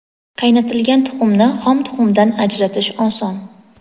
Qaynatilgan tuxumni xom tuxumdan ajratish oson.